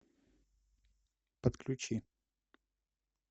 подключи